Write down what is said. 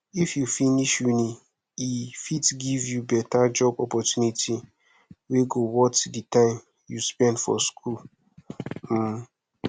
if u finish uni e fit give you beta job opportunity wey go worth di time u spend for school um